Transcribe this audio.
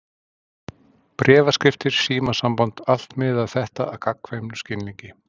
Bréfaskriftir, símasamband, allt miðaði þetta að gagnkvæmum skilningi.